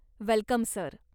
Welcome sir.